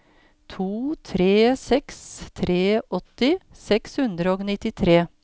to tre seks tre åtti seks hundre og nittitre